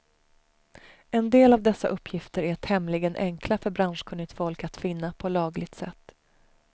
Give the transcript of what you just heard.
En del av dessa uppgifter är tämligen enkla för branschkunnigt folk att finna på lagligt sätt.